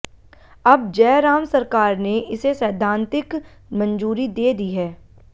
अब जयराम सरकार ने इसे सैद्धांतिक मंजूरी दे दी है